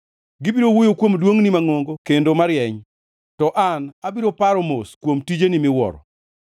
Gibiro wuoyo kuom duongʼni mangʼongo kendo marieny, to an abiro paro mos kuom tijeni miwuoro.